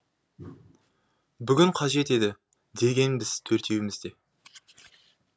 бүгін қажет еді дегенбіз төртеуіміз де